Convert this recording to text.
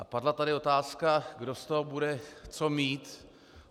A padla tady otázka, kdo z toho bude co mít.